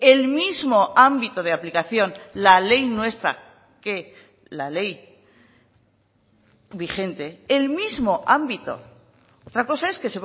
el mismo ámbito de aplicación la ley nuestra que la ley vigente el mismo ámbito otra cosa es que